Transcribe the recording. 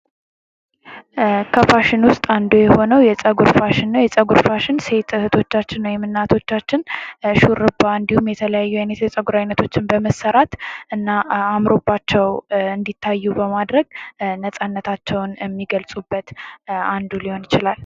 ከፋሽን ዉስጥ አንዱ የሆነዉ የፀጉር ፋሽን ሴት እህቶቻችን ወይም እናቶቻችን ሹሩባ እንዲሁም የተለያየ አይነቶችን በመሰራት እና አምሮባቸዉ እንዲታዩ በማድረግ ነፃነታቸዉን የሚገልፁበት አንዱ ሊሆን ይችላል።